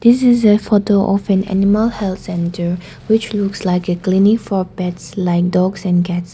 this is a photo of an animal health centre which looks like a clinic for pets like dogs and cats.